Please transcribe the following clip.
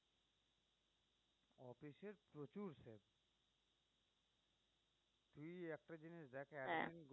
দেখ এখন